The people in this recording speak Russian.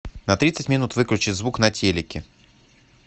на тридцать минут выключи звук на телике